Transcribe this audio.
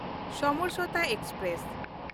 Samjhauta express